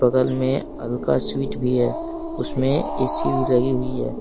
बगल में अलका स्वीट भी है उसमें ए_सी भी लगी हुई है।